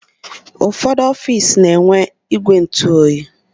Ụfọdụ ọfiisi na-enwe igwe ntụ oyi.